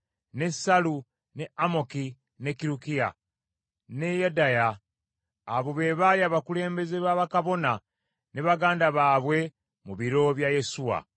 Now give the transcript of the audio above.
ne Sallu, ne Amoki, ne Kirukiya ne Yedaya. Abo be baali abakulembeze ba bakabona ne baganda baabwe mu biro bya Yesuwa.